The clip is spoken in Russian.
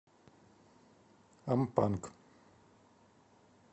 ампанг